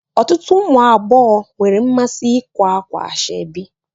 Ọtụtụ ụmụ agbọghọ nwere mmasị ikwa ákwà ashebi